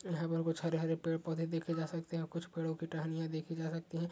यहाँ पर कुछ हरे-हरे पेड़-पौधे देखे जा सकते हैं। कुछ पेड़ों की टहनियों देखी जा सकती हैं ।